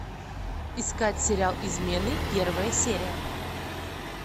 искать сериал измены первая серия